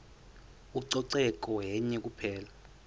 ucoceko yenye kuphela